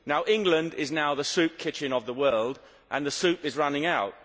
England is now the soup kitchen of the world, and the soup is running out.